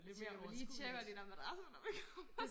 Tænker vi må lige tjekke de der madrasser når vi kommer